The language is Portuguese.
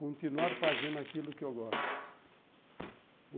Continuar fazendo aquilo que eu gosto.